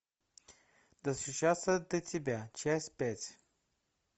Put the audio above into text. достучаться до тебя часть пять